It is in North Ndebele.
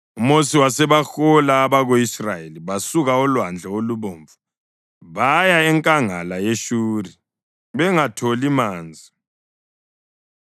UMosi wasebahola abako-Israyeli basuka oLwandle Olubomvu baya enkangala yeShuri bengatholi manzi.